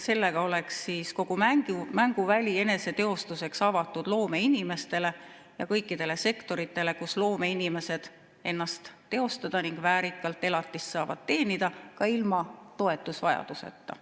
Sellega oleks kogu mänguväli eneseteostuseks avatud loomeinimestele ja kõikidele sektoritele, kus loomeinimesed saavad ennast teostada ning väärikalt elatist teenida ka ilma toetusvajaduseta.